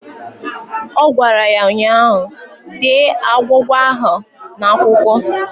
Ọ gwara ya ụnyaahụ "Dee agwụgwa ahụ n'akwụkwọ"!